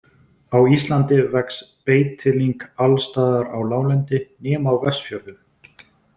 Á Íslandi vex beitilyng alls staðar á láglendi, nema á Vestfjörðum.